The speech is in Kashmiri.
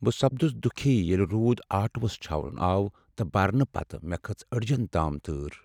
بہٕ سپدس دُكھی ییٚلہ روٗد آٹوہس چھاونہٕ آو تہٕ برنہٕ یِتھ مےٚ كٔھٕژ اڈِجین تام تۭر ۔